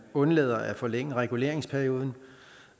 undlader at forlænge reguleringsperioden